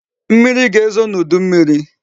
Mmiri ga-ezo n'udu mmiri